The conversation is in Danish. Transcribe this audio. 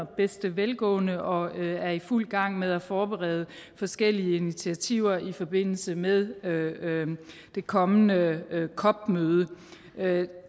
bedste velgående og er i fuld gang med at forberede forskellige initiativer i forbindelse med det kommende cop møde